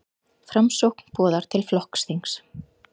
Framsókn boðar til flokksþings